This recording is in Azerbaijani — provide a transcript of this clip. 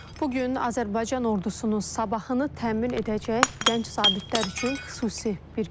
Bu gün Azərbaycan ordusunun sabahını təmin edəcək gənc zabitlər üçün xüsusi bir gündür.